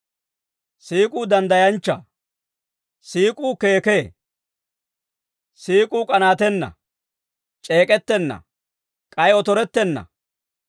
Siik'uu danddayanchchaa. Siik'uu keekee. Siik'uu k'anaatenna. C'eek'ettenna; k'ay otorettenna.